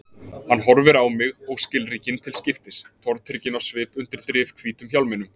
Hann horfir á mig og skilríkin til skiptis, tortrygginn á svip undir drifhvítum hjálminum.